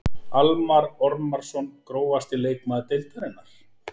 Almarr Ormarsson Grófasti leikmaður deildarinnar?